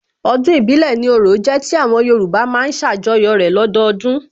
Ọdún ìbílẹ̀ ni orò jẹ́ tí àwọn Yorùbá má ń ṣàjọyọ̀ rẹ̀ lọ́dọdún